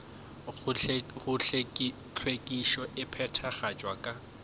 gore hlwekišo e phethagatšwa ka